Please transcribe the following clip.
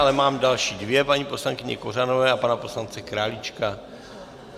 Ale mám další dvě, paní poslankyně Kořanové a pana poslance Králíčka.